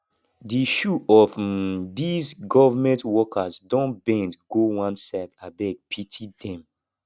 di shoe of um these government workers don bend go one side abeg pity dem